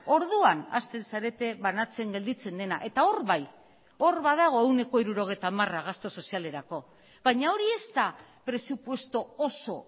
orduan hasten zarete banatzen gelditzen dena eta hor bai hor badago ehuneko hirurogeita hamara gastu sozialerako baina hori ez da presupuesto oso